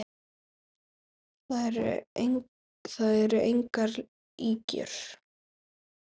Það eru engar ýkjur.